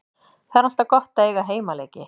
Það er alltaf gott að eiga heimaleiki.